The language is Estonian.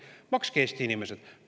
Makske, Eesti inimesed!